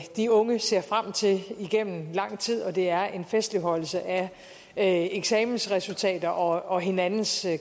de unge ser frem til igennem lang tid og det er en festligholdelse af eksamensresultater og hinandens